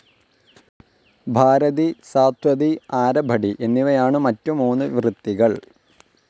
ഭാരതി, സാത്വതി, ആരഭടി എന്നിവയാണു മറ്റു മൂന്നു വൃത്തികൾ.